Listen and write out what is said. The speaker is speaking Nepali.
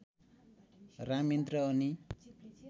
राम यन्त्र अनि